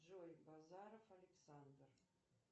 джой базаров александр